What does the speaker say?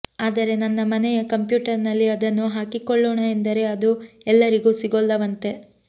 ಆದರೆ ನನ್ನ ಮನೆಯ ಕಂಪ್ಯೂಟರ್ನಲ್ಲಿ ಅದನ್ನು ಹಾಕಿಕೊಳ್ಳೋಣ ಎಂದರೆ ಅದು ಎಲ್ಲಾರಿಗೂ ಸಿಗೋಲ್ಲವಂತೆ